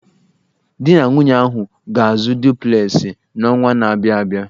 Di na nwunye ahụ ga-azụ duplesị n'ọnwa na-abịa abịa.